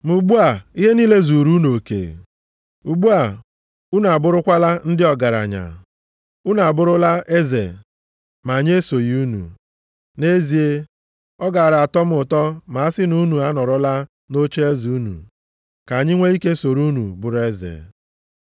Ma ugbu a, ihe niile zuru unu oke. Ugbu a, unu abụrụkwala ndị ọgaranya. Unu abụrụla eze ma anyị esoghị unu. Nʼezie, ọ gaara atọ m ụtọ ma a sị na unu anọrọla nʼocheeze unu, ka anyị nwe ike soro unu bụrụ eze.